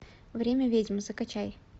время ведьм закачай